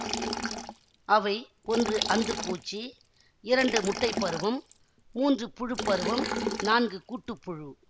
அவை ஒன்று அந்து பூச்சி இரண்டு முட்டை பருவம் மூன்று புழுப்பருவம் நான்கு கூட்டுப்புழு